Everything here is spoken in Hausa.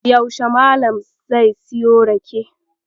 Yaushe Malam sai siyo rake?